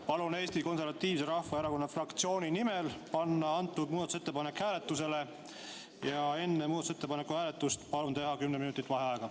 Palun Eesti Konservatiivse Rahvaerakonna fraktsiooni nimel panna antud muudatusettepanek hääletusele ja enne muudatusettepaneku hääletust palun teha kümme minutit vaheaega.